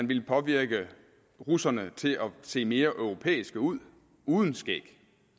ville påvirke russerne til at se mere europæiske ud uden skæg